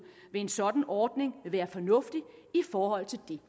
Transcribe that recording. ved en sådan ordning vil være fornuftigt i forhold til det